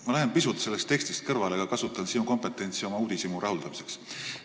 Ma lähen pisut sellest tekstist kõrvale, kasutan sinu kompetentsi oma uudishimu rahuldamiseks.